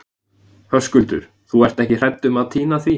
Höskuldur: Þú ert ekki hrædd um að týna því?